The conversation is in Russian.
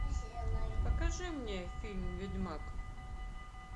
покажи мне фильм ведьмак